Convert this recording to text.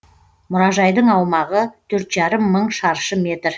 мұражайдың аумағы төрт жарым мың шаршы метр